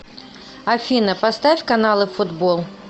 афина поставь каналы футбол